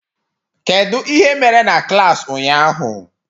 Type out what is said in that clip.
Kedu ihe mere na klas ụnyaahụ?